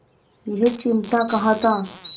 यह चिमटा कहाँ था